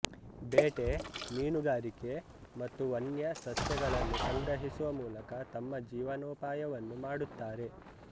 ಬೇಟೆ ಮೀನುಗಾರಿಕೆ ಮತ್ತು ವನ್ಯ ಸಸ್ಯಗಳನ್ನು ಸಂಗ್ರಹಿಸುವ ಮೂಲಕ ತಮ್ಮ ಜೀವನೋಪಾಯವನ್ನು ಮಾಡುತ್ತಾರೆ